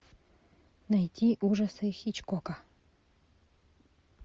найти ужасы хичкока